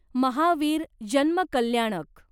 महावीर जन्म कल्याणक